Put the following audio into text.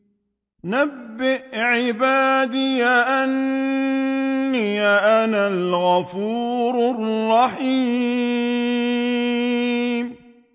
۞ نَبِّئْ عِبَادِي أَنِّي أَنَا الْغَفُورُ الرَّحِيمُ